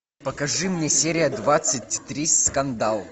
покажи мне серия двадцать три скандал